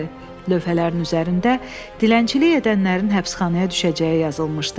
Lövhələrin üzərində dilənçilik edənlərin həbsxanaya düşəcəyi yazılmışdı.